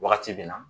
Wagati bɛ na